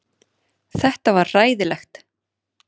Þetta var hræðilegt.